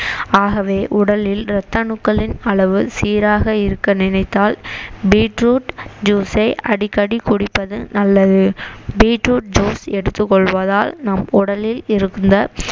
ஆகவே உடலில் ரத்த அணுக்களின் அளவு சீராக இருக்க நினைத்தால் beet root juice ஐ அடிக்கடி குடிப்பது நல்லது beet root juice எடுத்துக்கொள்வதால் நம் உடலில் இருந்த